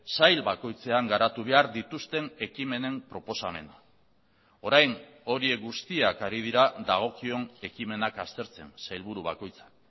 sail bakoitzean garatu behar dituzten ekimenen proposamena orain horiek guztiak ari dira dagokion ekimenak aztertzen sailburu bakoitza